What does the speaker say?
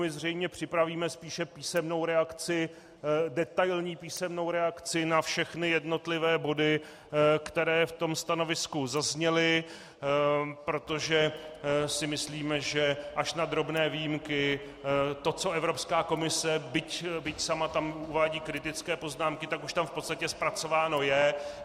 My zřejmě připravíme spíše písemnou reakci, detailní písemnou reakci na všechny jednotlivé body, které v tom stanovisku zazněly, protože si myslíme, že až na drobné výjimky to, co Evropská komise, byť tam sama uvádí kritické poznámky, tak už tam v podstatě zpracováno je.